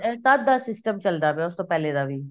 ਐ ਤਦ ਦਾ system ਚੱਲਦਾ ਪਿਆ ਉਸ ਤੋਂ ਪਹਿਲੇ ਦਾ ਵੀ